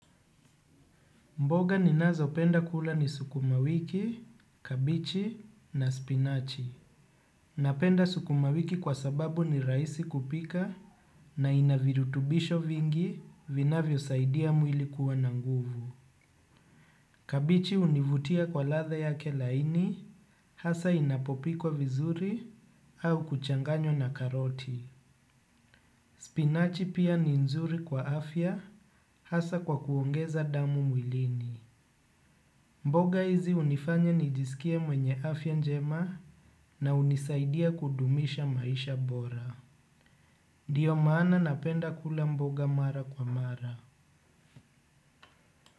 Mboga ninazopenda kula ni sukuma wiki, kabeji na spinachi. Napenda sukuma wiki kwa sababu ni rahisi kupika na ina virutubisho vingi vinavyosaidia mwili kuwa na nguvu. Kabeji hunivutia kwa ladha yake laini hasa inapopikwa vizuri au kuchanganywa na karoti. Spinachi pia ni nzuri kwa afya hasa kwa kuongeza damu mwilini. Mboga hizi hunifanya nijisikie mwenye afya njema na hunisaidia kudumisha maisha bora. Ndiyo maana napenda kula mboga mara kwa mara.